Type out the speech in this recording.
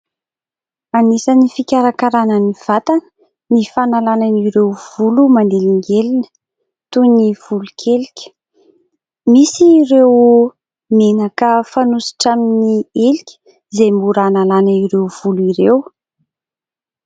Anisan' ny fikarakarana ny vatana ny fanalana ireo volo manelingelina toy ny volo-kelika. Misy ireo menaka fanosotra amin' ny helika izay mora hanalana ireo volo ireo.